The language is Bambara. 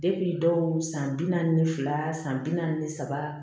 dɔw san bi naani ni fila san bi naani saba